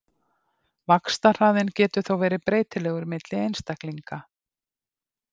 vaxtarhraðinn getur þó verið breytilegur milli einstaklinga